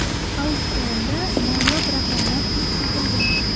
Auksionda noyob raqamlar ham sotilgan.